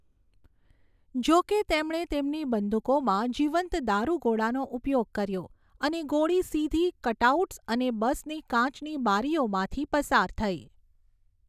જો કે, તેમણે તેમની બંદૂકોમાં જીવંત દારૂગોળાનો ઉપયોગ કર્યો અને ગોળી સીધી કટઆઉટ્સ અને બસની કાચની બારીઓમાંથી પસાર થઈ.